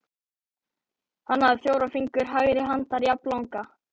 Hann hafði fjóra fingur hægri handar jafnlanga.